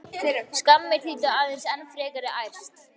Skammir þýddu aðeins enn frekari ærsl.